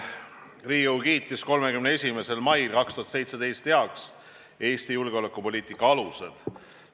Riigikogu kiitis 31. mail 2017 heaks Eesti julgeolekupoliitika alused.